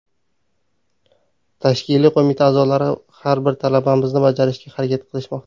Tashkiliy qo‘mita a’zolari har bir talabimizni bajarishga harakat qilishmoqda.